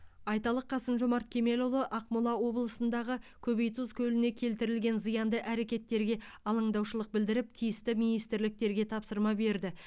айталық қасым жомарт кемелұлы ақмола облысындағы көбейтұз көліне келтірілген зиянды әрекеттерге алаңдаушылық білдіріп тиісті министрліктерге тапсырма берді